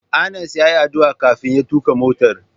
Anas yayi addu'a kafin ya tuka motar.